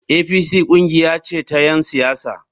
APC kungiya ce ta ‘yan siyasa.